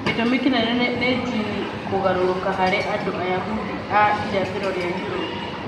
Gĩtũmi kĩnene nĩ njini kũgarũrũka harĩ andũ ayahudi a irathĩro rĩa Europe.